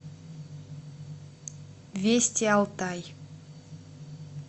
вести алтай